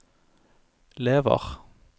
lever